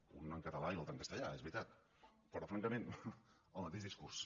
ep un en català i l’altre en castellà és veritat però francament el mateix discurs